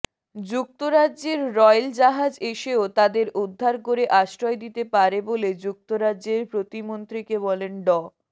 যুক্তরাজ্যের রয়েল জাহাজ এসেও তাদের উদ্ধার করে আশ্রয় দিতে পারে বলে যুক্তরাজ্যের প্রতিমন্ত্রীকে বলেন ড